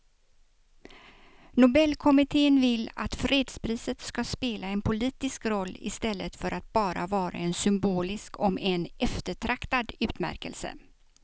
Nobelkommittén vill att fredspriset ska spela en politisk roll i stället för att bara vara en symbolisk om än eftertraktad utmärkelse.